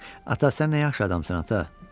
Ata, sən nə yaxşı adamsan, ata!